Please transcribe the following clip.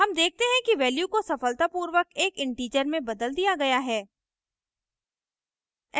हम देखते हैं कि value को सफलतापूर्वक एक integer में बदल दिया गया है